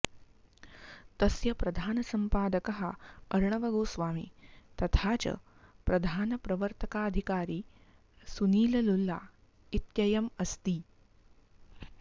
तस्य प्रधानसम्पादकः अर्णवगोस्वामी तथा च प्रधानप्रवर्तकाधिकारी सुनीललुल्ला इत्ययम् अस्ति